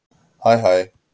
Hæ hæ